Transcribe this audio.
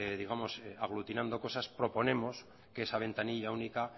aglutinando cosas proponemos que esa ventanilla única